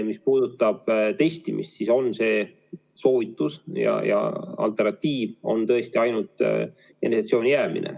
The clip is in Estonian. Mis puudutab testimist, siis on see soovitus, ja alternatiiv on tõesti ainult eneseisolatsiooni jäämine.